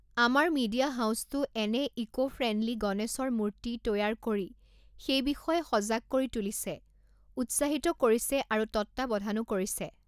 আমাৰ মি়ডিয়া হাউচতো এনে ইকো ফ্ৰেণ্ডলী গণেশৰ মূৰ্তি তৈয়াৰ কৰি সেই বিষয়ে সজাগ কৰি তুলিছে, উৎসাহিত কৰিছে আৰু তত্বাৱধানো কৰিছে।